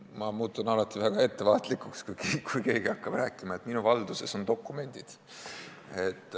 Ma muutun alati väga ettevaatlikuks, kui keegi hakkab rääkima, et tema valduses on dokumendid.